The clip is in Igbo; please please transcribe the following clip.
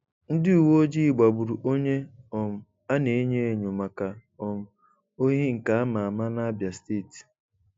Ndị uwe ojii gbagburu onye um a n'enyo enyo maka um ohi nke a ma ama n'Abịa steeti.